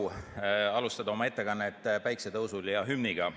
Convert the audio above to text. On eriline au alustada oma ettekannet päikesetõusul ja hümniga.